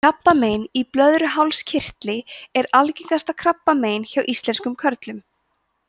krabbamein í blöðruhálskirtli er algengasta krabbamein hjá íslenskum körlum